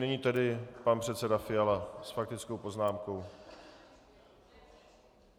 Nyní tedy pan předseda Fiala s faktickou poznámkou.